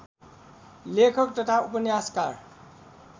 लेखक तथा उपन्यासकार